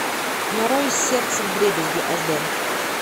нарой сердце вдребезги аш дэ